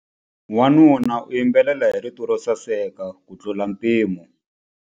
Wanuna u yimbelela hi rito ro saseka kutlula mpimo.